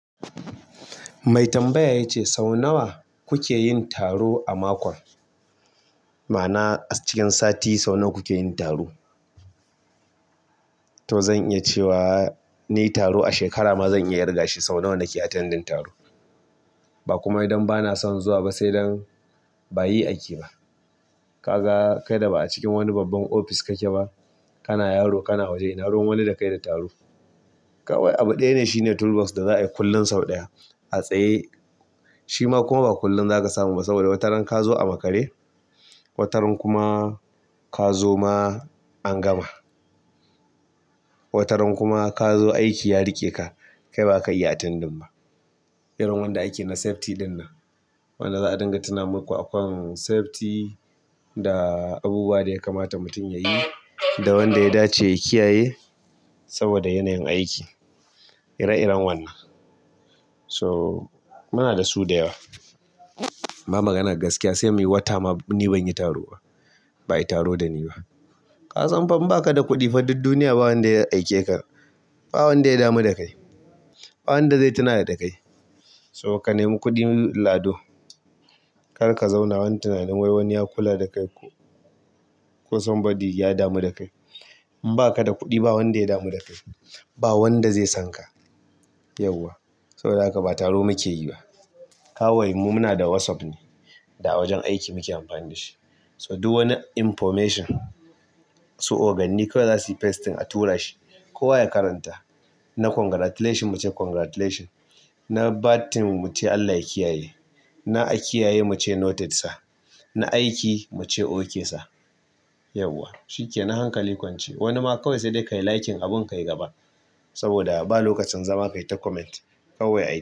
Mai tambaya ya ce sau nawa kuke yin taro a makon? Ma'ana a cikin sati sau nawa kuke yin taro? To zan iya cewa ni taro a shekara ma zan iya riga shi. Sau nawa nake attending taro. Bakuma idan bana son zuwa ba sai dan bayi aiki ba. Ka ga kai da ba a cikin wani babban ofis kake ba, kana yaro kana waje ina ruwan wani da kai da taro kawai. Abu ɗaya shine toolbox da za a yi kullum sau ɗaya a tsaye. Shi ma kuma ba kullum za ka samu ba saboda wataran ka zo a makare, wataran kuma ka zo ma an gama, wataran kuma ka zo aiki ya riƙe ka. Kai ba za ka iya attending ba. Irin wanda ake na safety ɗinnan. Wanda za a dinga tuna muku a kan safety da abubuwa da ya kamata mutum ya yi da wanda ya dace ya kiyaye saboda yanayin aiki. Ire-iren wannan. So muna da su da yawa. Ba maganar gaskiya sai muyi wata ma ni ban yi taro ba. Ba yi taro da ni ba ka san fa in ba ka da kuɗi fa duk duniya ba wanda ya aike ka. Ba wanda ya damu da kai. Ba wanda zai tuna da kai. So ka nemi kuɗin lado kar ka zauna wanni tunani wai wanni ya ƙulla da kai ko ko somebody ya damu da kai. In ba ka da kuɗi ba wanda ya damu da kai. Ba wanda zai san ka. Yauwa. Saboda haka ba taro muke yi ba. Kawai mu muna da WhatsApp ne da wajen aiki muke amfani da shi. So duk wani information su oganni kawai za su yi pasting a tura shi kowa ya karanta. Na congratulation muce congratulation. Na bad thing muce Allah ya kiyaye. Na a kiyaye muce noted sa. Na aiki muce ok sir. Yauwa. Shikenan hankali kwance. Wani ma kawai sai dai ka yi liking abun ka yi gaba saboda ba lokacin zama ka yi ta comment. Kawai ai.